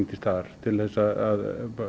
til staðar til þess að